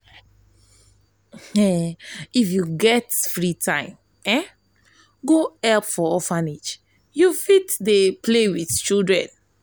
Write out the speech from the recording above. if you get free time go help for orphanage you fit fit play wit children.